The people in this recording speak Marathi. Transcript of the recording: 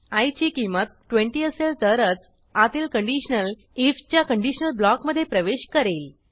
आय ची किंमत 20 असेल तरच आतील कंडिशनलif च्या कंडिशनल ब्लॉकमधे प्रवेश करेल